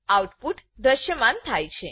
output દ્રશ્યમાન થાય છે